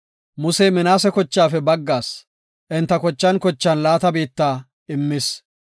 Musey Minaase kochaafe baggaas enta kochan kochan laata biitta immis.